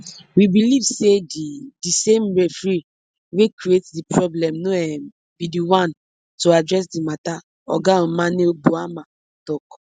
we believe say di di same referee wey create di problem no um be di one to address di mata oga omane boamah tok